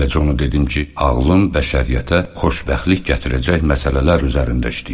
Eləcə onu dedim ki, ağlım bəşəriyyətə xoşbəxtlik gətirəcək məsələlər üzərində işləyir.